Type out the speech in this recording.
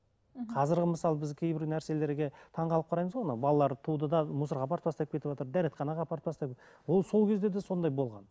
мхм қазір мысалы біз кейбір нәрселерге таңғалып қараймыз ғой анау балаларды туды да мусорға апарып тастап кетіватыр дәретханаға апарып тастап ол сол кезде де сондай болған